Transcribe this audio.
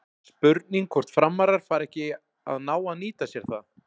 Spurning hvort Framarar fari ekki að ná að nýta sér það?